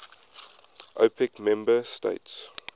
opec member states